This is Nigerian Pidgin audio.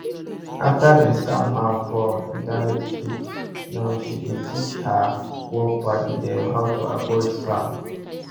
after dem scam her for internet trick now she dey teach her work padi dem how to avoid scam